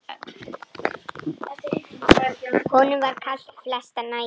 Honum var kalt flestar nætur.